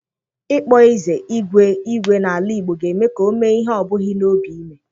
Ịkpọ eze igwe igwe n'ala Igbo ga-eme ka o mee ihe ọ bughị n'obi ime.